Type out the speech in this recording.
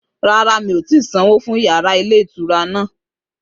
Rárá, mi ò tí sanwó fún yàrá ilé-ìtura náà